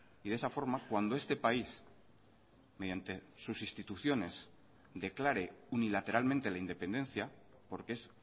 y de esa forma cuando este país mediante sus instituciones declare unilateralmente la independencia porque es